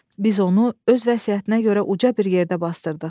Biz onu öz vəsiyyətinə görə uca bir yerdə basdırdıq.